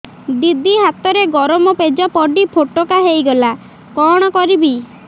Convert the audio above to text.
ଦିଦି ହାତରେ ଗରମ ପେଜ ପଡି ଫୋଟକା ହୋଇଗଲା କଣ କରିବି